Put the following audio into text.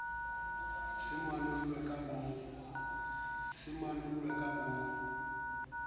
se manol lwa ka bo